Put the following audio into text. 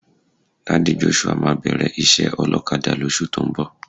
Daddy Joshua máa bẹ̀rẹ̀ iṣẹ́ ọlọ́kadà lóṣù tó ń bọ̀.